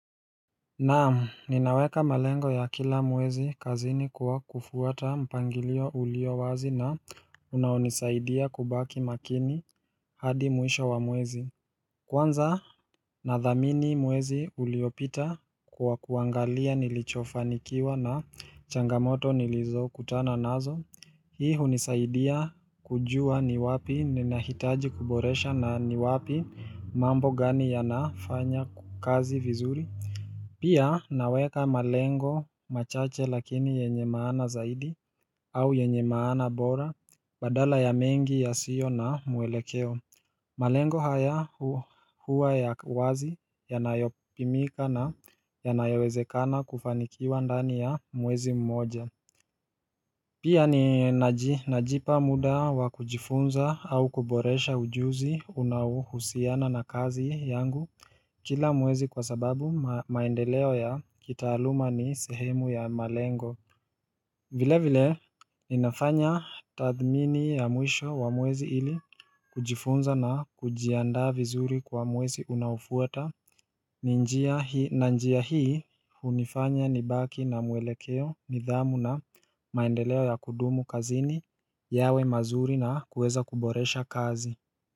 Naam ninaweka malengo ya kila mwezi kazini kwa kufuata mpangilio ulio wazi na unaonisaidia kubaki makini hadi mwisho wa mwezi Kwanza nadhamini mwezi uliopita kwa kuangalia nilichofanikiwa na changamoto nilizo kutana nazo Hii hunisaidia kujua ni wapi ninahitaji kuboresha na ni wapi mambo gani ya nafanya kazi vizuri Pia naweka malengo machache lakini yenye maana zaidi au yenye maana bora badala ya mengi yasio na mwelekeo malengo haya huwa huwa ya wazi yanayopimika na yanayawezekana kufanikiwa ndani ya mwezi mmoja Pia ninaji najipa muda wa kujifunza au kuboresha ujuzi unaohusiana na kazi yangu Kila mwezi kwa sababu ma maendeleo ya kitaaluma ni sehemu ya malengo vile vile ninafanya tathmini ya mwisho wa mwezi ili kujifunza na kujiandaa vizuri kwa mwezi unaofuta ni njia hii na njia hii hunifanya nibaki na muelekeo nidhamu na maendeleo ya kudumu kazini yawe mazuri na kuweza kuboresha kazi.